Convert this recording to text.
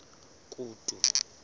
kutu